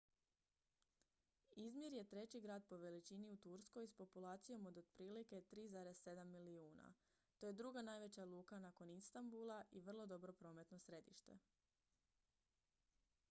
izmir je treći grad po veličini u turskoj s populacijom od otprilike 3,7 milijuna to je druga najveća luka nakon istanbula i vrlo dobro prometno središte